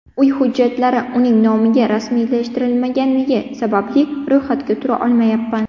Uy hujjatlari uning nomiga rasmiylashtirilmagani sababli ro‘yxatga tura olmayapman.